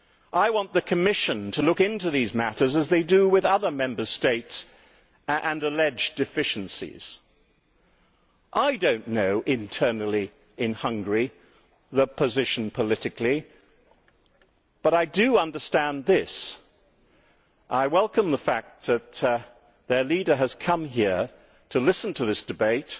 I want the Commission to look into these matters, as it does with other Member States and alleged deficiencies. I do not know the internal political situation in Hungary, but I do understand this I welcome the fact that their leader has come here to listen to this debate